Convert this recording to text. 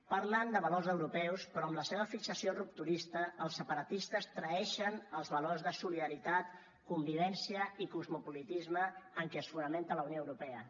parlen de valors europeus però amb la seva fixació rupturista els separatistes traeixen els valors de solidaritat convivència i cosmopolitisme en què es fonamenta la unió europea